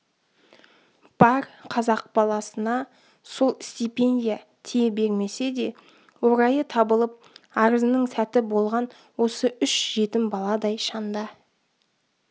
бар қазақ баласына сол стипендия тие бермесе де орайы табылып арызының сәті болған осы үш жетім баладай шанда